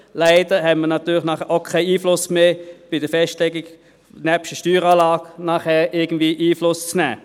Leider haben wir danach natürlich nebst der Steueranlage keine Möglichkeit mehr, bei der Festlegung irgendwie Einfluss zu nehmen.